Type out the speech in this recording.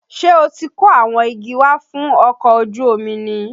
Ṣé o ti kó àwọn igi wá fún ọkọ̀ ojú omi ni?